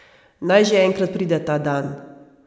Naj že enkrat pride ta dan.